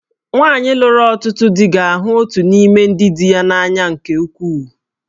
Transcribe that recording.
Nwanyị lụrụ ọtụtụ di ga-ahụ otu n'ime ndị di ya n'anya nke ukwuu